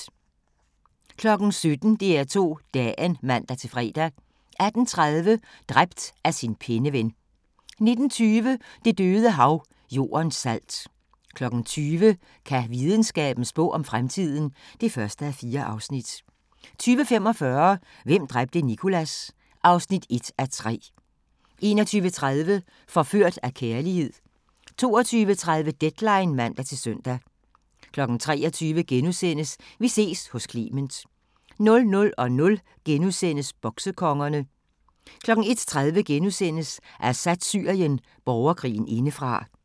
17:00: DR2 Dagen (man-fre) 18:30: Dræbt af sin penneven 19:20: Det døde Hav – Jordens salt 20:00: Kan videnskaben spå om fremtiden? (1:4) 20:45: Hvem dræbte Nicholas? (1:3) 21:30: Forført af kærlighed 22:30: Deadline (man-søn) 23:00: Vi ses hos Clement * 00:00: Boksekongerne * 01:30: Assads Syrien – borgerkrigen indefra *